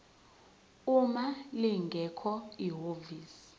uma lingekho ihhovisi